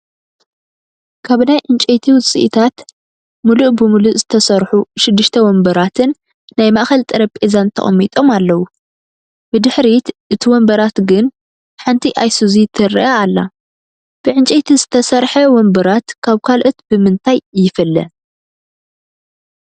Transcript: ካብ ናይ ዕንጨይቲ ውፅኢታት ሙሉእ ብሙሉእ ዝተሰርሑ 6+ ወንበራትን ናይ ማአኸል ጠረጴዛን ተቐሚጦም ኣለው፡፡ ብድሕሪት እቲ ወንበራት ግን ሓንቲ ኣይሱዚ ትረአ ኣላ፡፡ ብዕንጨይቲ ዝተሰርሐ ወንበራት ካብ ካልኦት ብምንታይ ይፍለ?